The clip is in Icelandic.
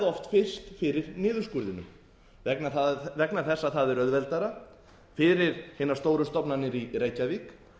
útibúin verði oft fyrst fyrir niðurskurðinum vegna þess að það er auðveldara fyrir hinar stóru stofnanir í reykjavík